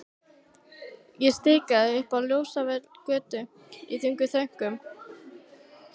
Ég stikaði upp á Ljósvallagötu í þungum þönkum.